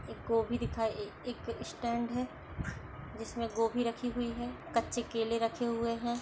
एक गोभी दिखा ए-ए-एक स्टैंड है जिसमें गोभी रखी हुई है कच्चे केले रखे हुए हैं।